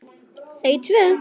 Þau tvö.